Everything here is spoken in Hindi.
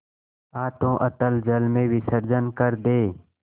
हाथों अतल जल में विसर्जन कर दे